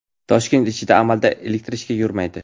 Toshkent ichida amalda elektrichka yurmaydi.